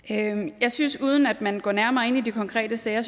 jeg synes at man uden at man går nærmere ind i de konkrete sager